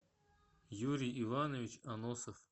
юрий иванович аносов